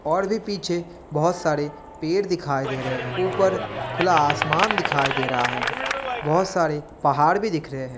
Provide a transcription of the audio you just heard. और भी पीछे बहुत सारे पेड़ दिखाई दे रहे हैं। ऊपर खुला आसमान दिखाई दे रहा है। बहुत सारे पहाड़ भी दिख रहे हैं।